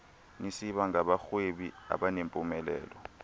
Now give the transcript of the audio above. nisiba ngabarhwebi abanempumelelo